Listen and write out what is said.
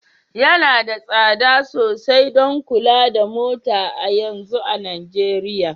Yana da tsada sosai don kula da mota a yanzu a Najeriya